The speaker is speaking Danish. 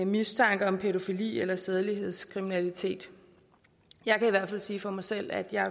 mistanke om pædofili eller sædelighedskriminalitet jeg kan i hvert fald sige for mig selv at jeg